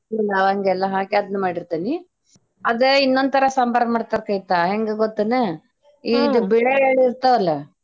ಲವಂಗ ಎಲ್ಲ ಹಾಕಿ ಅದ್ನ ಮಾಡಿರ್ತೇನಿ ಅದ ಇನ್ನೊಂದ್ ತರ ಸಾಂಬಾರ್ ಮಾಡ್ತಾರ್ ಕವಿತಾ ಹೆಂಗ ಗೊತ್ತೇನ ಇದ್ ಬಿಳೆ ಎಳ್ಳ್ ಇರ್ತವಲ್ಲ.